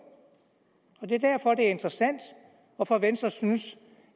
det er derfor at det er interessant hvorfor venstre synes